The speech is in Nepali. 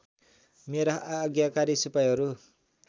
मेरा आज्ञाकारी सिपाहीहरू